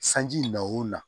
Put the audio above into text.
Sanji na o la